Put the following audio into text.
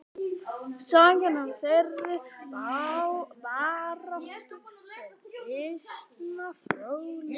Sagan af þeirri baráttu er býsna fróðleg.